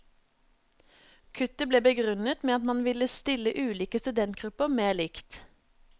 Kuttet ble begrunnet med at man ville stille ulike studentgrupper mer likt.